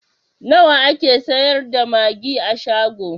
Nawa ake sayar da magi a shago?